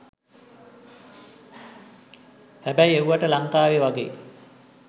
හැබැයි එව්වට ලංකාවේ වගේ